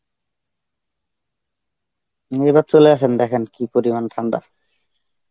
উম এবার চলে আসেন দেখেন কী পরিমান ঠান্ডা.